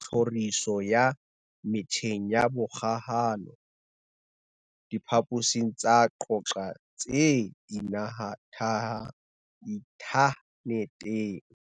tlhoriso ya metjheng ya kgokahano diphaposing tsa ho qoqa tse inthaneteng.